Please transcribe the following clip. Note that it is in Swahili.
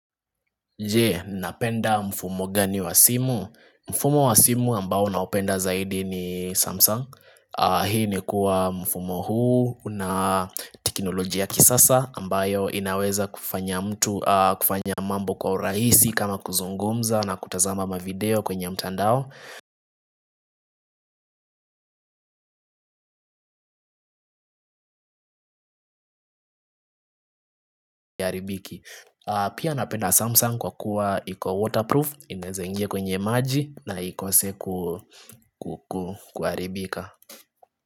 Je, napenda mfumo gani wa simu. Mfumo wa simu ambao naupenda zaidi ni Samsung. Hii ni kuwa mfumo huu una teknolojia ya kisasa ambayo inaweza kufanya mambo kwa urahisi kama kuzungumza na kutazama mavideo kwenye mtandao. Pia napenda Samsung kwa kuwa iko waterproof, inaweza ingia kwenye maji. Na ikose kuaribika.